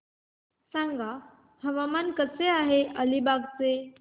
सांगा हवामान कसे आहे अलिबाग चे